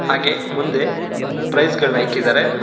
ಹಾಗೆ ಮುಂದೆ ಪ್ರೈಸ್ ಗಳ್ನ ಇಕ್ಕಿದರೆ.